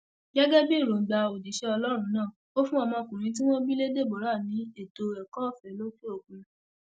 gẹgẹ bí èròǹgbà òjíṣẹ ọlọrun náà ò fún ọmọkùnrin tí wọn bí lé deborah ní ètò ẹkọọfẹ lókè òkun